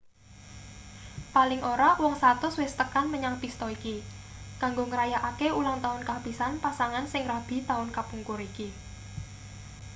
paling ora wong 100 wis tekan menyang pista iki kanggo ngrayakake ulangtaun kapisan pasangan sing rabi taun kapungkur iki